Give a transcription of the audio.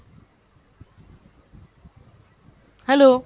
hello!